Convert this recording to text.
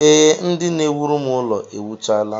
Ee, ndị na-ewuru m ụlọ ewuchaala